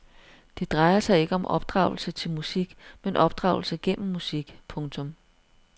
Det drejer sig ikke om opdragelse til musik men opdragelse gennem musik. punktum